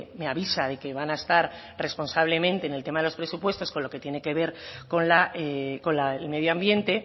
me avisa de que van a estar responsablemente en el tema de los presupuestos con lo que tiene que ver con el medio ambiente